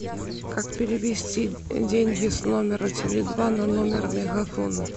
как перевести деньги с номера теле два на номер мегафона